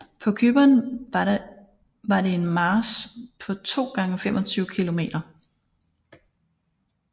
På Cypern var det en march på 2 x 25 km